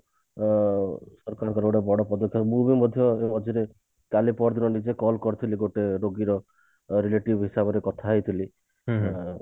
ଅ ତାଙ୍କର ଗୋଟେ ବଡ ପଦକ୍ଷେପ ମୁଁ ବି ମଧ୍ୟ ମଝିରେ କାଲି ପରଦିନ ନିଜେ call କରିଥିଲି ଗୋଟେ ରୋଗୀର relative ହିସାବରେ କଥା ହେଇଥିଲି ଆଉ